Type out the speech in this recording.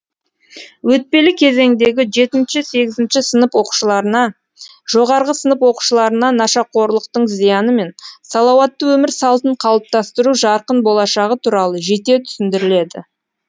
өтпелі кезеңдегі жетінші сегізінші сынып оқушыларына жоғары сынып оқушыларына нашақорлықтың зияны мен салауатты өмір салтын қалыптастыру жарқын болашағы туралы жете түсіндіріледі